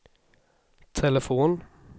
telefon